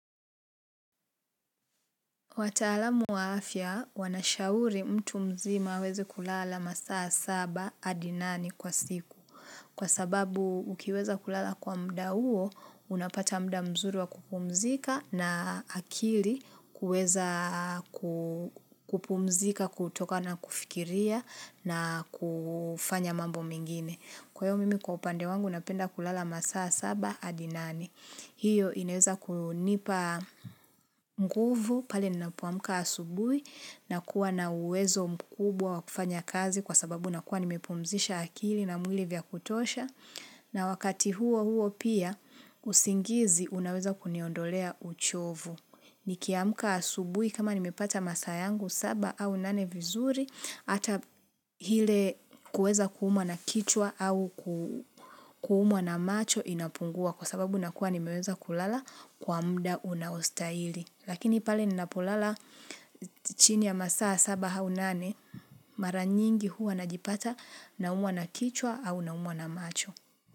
Wataalamu wa afya, wanashauri mtu mzima aweze kulala masaa saba hadi nane kwa siku. Kwa sababu, ukiweza kulala kwa muda huo, unapata muda mzuri wa kupumzika na akili kuweza kupumzika, kutoka na kufikiria na kufanya mambo mengine. Kwa hiyo, mimi kwa upande wangu, napenda kulala masaa saba hadi nane. Hiyo inaweza kunipa mguvu pale ninapoamka asubuhi na kuwa na uwezo mkubwa wakufanya kazi kwa sababu nakuwa nimepumzisha akili na mwili vya kutosha na wakati huo huo pia usingizi unaweza kuniondolea uchovu. Nikiamka asubuhi kama nimepata masaa yangu saba au nane vizuri hata hile kuweza kuumwa na kichwa au kuumwa na macho inapungua kwa sababu nakuwa nimeweza kulala kwa muda unaostahili. Lakini pale ninapolala chini ya masaa saba au nane maranyingi huwa najipata na umwa na kichwa au naumwa na macho.